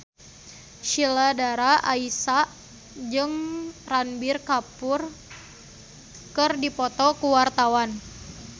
Sheila Dara Aisha jeung Ranbir Kapoor keur dipoto ku wartawan